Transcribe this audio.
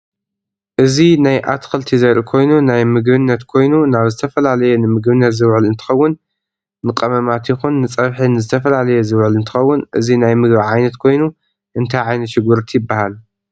እዚ ናይ አትክልቲ ዘርኢ ኮይኑ ናይ ምግብነት ኮየኑ ናብ ዝተፈላላየ ንምግብነት ዝውዕል እንትከውን ንቀመማት ይኩን ንፀብሒ ነዝተፈላለየ ዝውዕል እንትከውን እዚ ናይ ምግብ ዓይነት ኮይኑ እንታይ ዓይነት ሽጉርቲ ይብሃል?